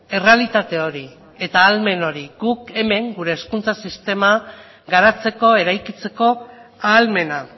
errealitate hori eta ahalmen hori guk hemen gure hezkuntza sistema garatzeko eraikitzeko ahalmena